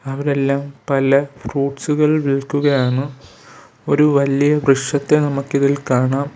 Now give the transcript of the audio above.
അവരെല്ലാം പല ഫ്രൂട്ട്സുകൾ വിൽക്കുകയാണ് ഒരു വലിയ വൃക്ഷത്തെ നമുക്കിതിൽ കാണാം.